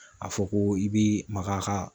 A fɔ ko i bi maga a ka